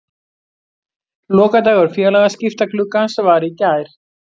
Lokadagur félagaskiptagluggans var í gær.